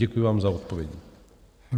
Děkuji vám za odpovědi.